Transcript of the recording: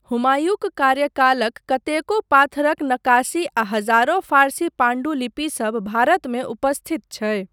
हुमायूँक कार्यकालक कतेको पाथरक नक्काशी आ हजारो फारसी पाण्डुलिपिसभ भारतमे उपस्थित छै।